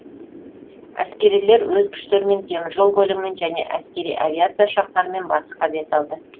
әскерилер өз күштерімен теміржол көлігімен және әскери авиация ұшақтарымен батысқа бет алды